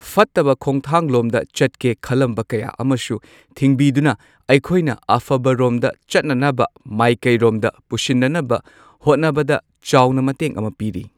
ꯐꯠꯇꯕ ꯈꯣꯡꯊꯥꯡꯂꯣꯝꯗ ꯆꯠꯀꯦ ꯈꯜꯂꯝꯕ ꯀꯌꯥ ꯑꯃꯁꯨ ꯊꯤꯡꯕꯤꯗꯨꯅ ꯑꯩꯈꯣꯏꯅ ꯑꯐꯕꯔꯣꯝꯗ ꯆꯠꯅꯅꯕ ꯃꯥꯏꯀꯩꯔꯣꯝꯗ ꯄꯨꯁꯤꯟꯅꯅꯕ ꯍꯣꯠꯅꯕꯗ ꯆꯥꯎꯅ ꯃꯇꯦꯡ ꯑꯃ ꯄꯤꯔꯤ꯫